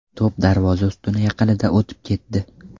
To‘p darvoza ustuni yaqinidan o‘tib ketdi.